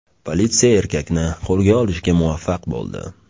Politsiya erkakni qo‘lga olishga muvaffaq bo‘ldi.